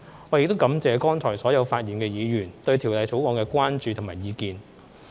我亦感謝剛才所有發言的議員對《條例草案》的關注和意見。